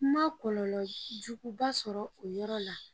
N ma kɔlɔlɔ jugu ba sɔrɔ o yɔrɔ la.